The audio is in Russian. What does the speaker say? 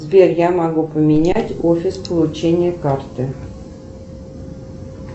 сбер я могу поменять офис получения карты